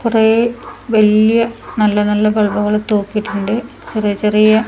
കുറെ വല്യ നല്ല നല്ല ബൾബുകള് തൂക്കിയിട്ടുണ്ട് ചെറിയ ചെറിയ--